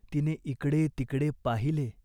आता दळते व देत्ये हो भाकरी करून. रागावू नका.